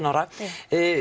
ára